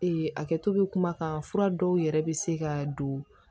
a kɛto be kuma kan fura dɔw yɛrɛ be se ka don